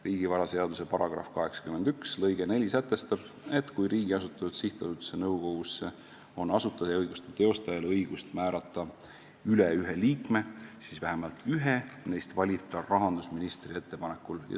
Riigivaraseaduse § 81 lõige 4 sätestab, et kui riigi asutatud sihtasutuse nõukogusse on asutajaõiguste teostajal õigus määrata üle ühe liikme, siis vähemalt ühe neist valib ta rahandusministri ettepanekul.